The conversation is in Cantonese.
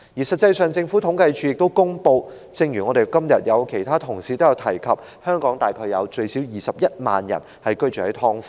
實際上，政府統計處亦公布，正如其他同事今天也提及，香港大概有最少21萬人居於"劏房"。